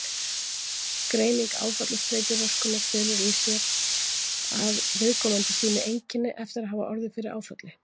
Greining áfallastreituröskunar felur í sér að: Viðkomandi sýni einkenni eftir að hafa orðið fyrir áfalli.